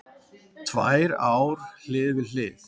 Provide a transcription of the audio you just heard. Tvær ár hlið við hlið